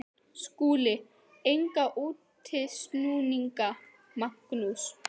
SKÚLI: Enga útúrsnúninga, Magnús.